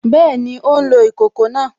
Bẹ́ẹ̀ni, ó ń lo ìkòkò náà